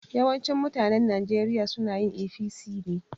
Yawancin mutanen Nijeriya sunayin APC ne